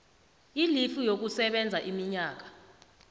ilifu yokusebenza iminyaka